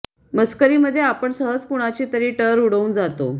मस्करीमध्ये आपण सहज कुणाची तरी टर उडवून जातो